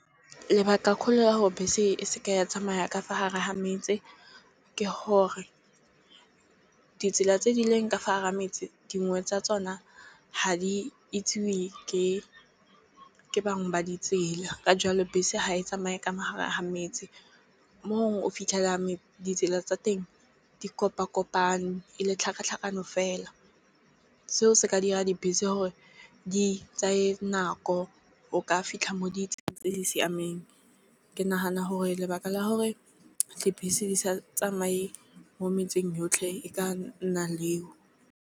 Lebaka kgolo ya gore bese e se ke ya tsamaya ka fa gare ga metse. Ke gore ditsela tse di leng ka fa gara metse dingwe tsa tsona ha di itsewe ke bangwe ba ditsela ka jalo bese ha e tsamaye ka magareng a ga metse. Mo gongwe o fitlhelelang ditsela tsa teng di kopa kopano e le tlhakatlhakano fela seo se ka dira dibese go gore di tsaye nako o ka fitlha mo ditseleng tse di siameng. Ke nagana gore lebaka la gore dibese di sa tsamaye mo metseng yotlhe e ka nna leo.